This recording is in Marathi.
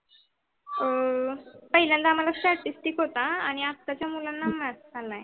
अं पहिल्यांदा आम्हाला statistic होता आणि आत्याच्या मुल्लान्ना math पण आहे.